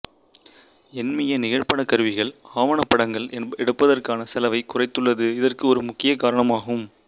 எண்மிய நிகழ்படக் கருவிகள் ஆவணப் படங்கள் எடுப்பதற்கான செலவைக் குறைத்துள்ளது இதற்கு ஒரு முக்கிய காரணம் ஆகும்